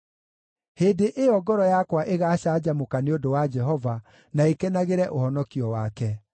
Hĩndĩ ĩyo ngoro yakwa ĩgaacanjamũka nĩ ũndũ wa Jehova, na ĩkenagĩre ũhonokio wake.